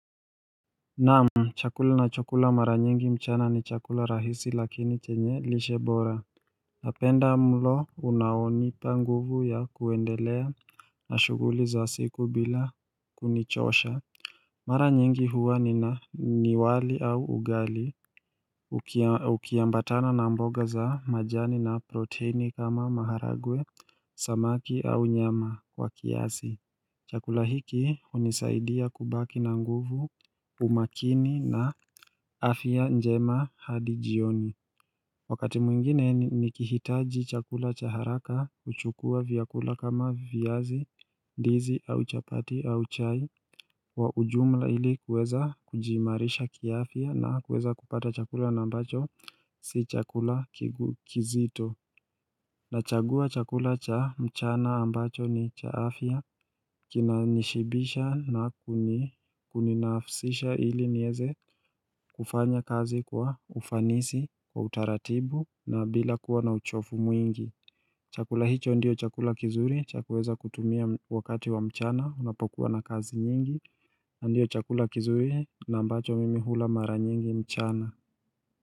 Naam chakula ninachokula mara nyingi mchana, ni chakula rahisi lakini chenye lishe bora napenda mlo unaonipa nguvu ya kuendelea na shughuli za siku bila kunichosha Mara nyingi huwa nina ni wali au ugali Ukiambatana na mboga za majani na proteini kama maharagwe Samaki au nyama kwa kiasi chakula hiki hunisaidia kubaki na nguvu umakini, na afya njema hadi jioni Wakati mwingine, nikihitaji chakula cha haraka, huchukua vyakula kama viazi, ndizi, au chapati, au chai, kwa ujumla ili kuweza kujiimarisha kiafya, na kuweza kupata chakula ambacho si chakula kizito Nachagua chakula cha mchana ambacho ni cha afya Kinanishibisha na kuninafsisha ili niweze kufanya kazi kwa ufanisi, kwa utaratibu, na bila kuwa na uchovu mwingi chakula hicho ndio chakula kizuri, cha kuweza kutumia wakati wa mchana unapokuwa na kazi nyingi Ndiyo chakula kizuri na ambacho mimi hula mara nyingi mchana.